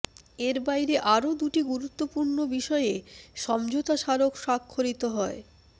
এর বাইরে আরো দুটি গুরুত্বপূর্ণ বিষয়ে সমঝোতা স্মারক স্বাক্ষরিত হয়